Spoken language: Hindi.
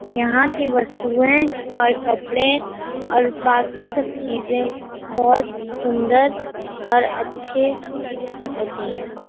यहाँ की वस्तुएँ और कपड़े और बाकि सब चीजें बहुत सुन्दर और अच्छी होती हैं ।